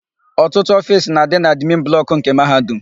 Ọtụtụ ofiisi na-adị na admin blọkụ nke Mahadum.